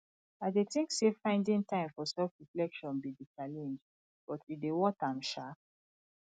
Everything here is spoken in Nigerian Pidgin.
i dey think say finding time for selfreflection be di challenge but e dey worth am um